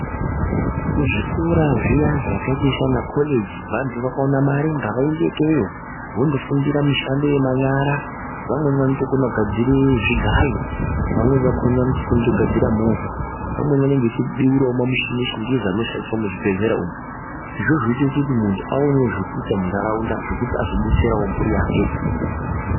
Kuzvikora zviya zvakaita sana koreji vantu vakawanda mari ngavaende ikeyo vondofundira mushando yemanyara vamweni vanotokona kutogadzire zvigayo vamweni vakhona vanotofundira kugadzira movha vamweni vanenge vachibeurawo mamushini echingezi arikushandiswa muzvibhedhlera umo izvozvo zvinoita kuti muntu aonewo zvekuita mundaraunda zvekuti azodetserawo mburi yake.